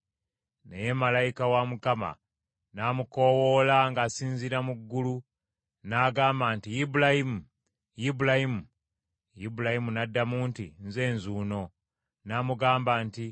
Naye malayika wa Mukama n’amukoowoola ng’asinziira mu ggulu, n’agamba nti, “Ibulayimu! Ibulayimu!” Ibulayimu n’addamu nti, “Nze nzuuno.” N’amugamba nti,